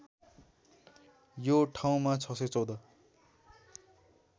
यो ठाउँमा ६१४